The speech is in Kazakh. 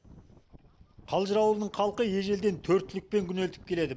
қалжыр ауылының халқы ежелден төрт түлікпен күнелтіп келеді